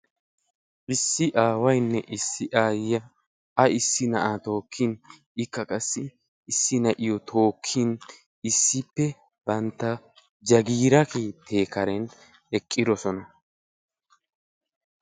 Issi aawayinne issi aayiya naa'a tookkiddi guutta keette karen eqqidosonna